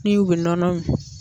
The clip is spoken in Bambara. Ni u bɛ nɔnɔ